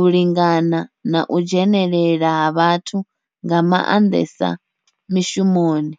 u lingana na u dzhenelela ha vhathu nga mandesa mishumoni.